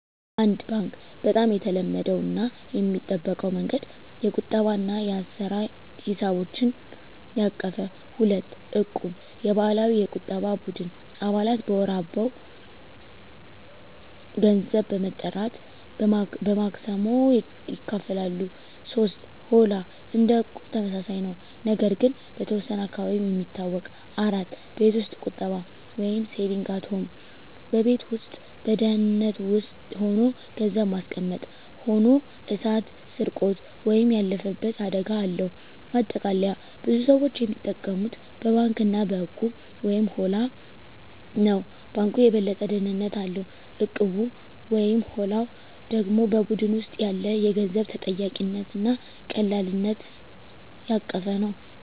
1. ባንክ (Bank) - በጣም የተለመደው እና የሚጠበቀው መንገድ። የቁጠባ እና የአሰራ ሂሳቦችን ያቀፈ። 2. እቁብ (Equb) - የባህላዊ የቁጠባ ቡድን። አባላት በወር አበው ገንዘብ በመጠራት በማክሰሞ ይካፈላሉ። 3. ሆላ (Holla) - እንደ እቁብ ተመሳሳይ ነው፣ ነገር ግን በተወሰነ አካባቢ የሚታወቅ። 4. ቤት ውስጥ ቁጠባ (Saving at Home) - በቤት ውስጥ በደህንነት ሆኖ ገንዘብ ማስቀመጥ። ሆኖ እሳት፣ ስርቆት ወይም ያለፈበት አደጋ አለው። ማጠቃለያ ብዙ ሰዎች የሚጠቀሙት በባንክ እና በእቁብ/ሆላ ነው። ባንኩ የበለጠ ደህንነት አለው፣ እቁቡ/ሆላው ደግሞ በቡድን ውስጥ ያለ የገንዘብ ተጠያቂነት እና ቀላልነት ያቀፈ ነው።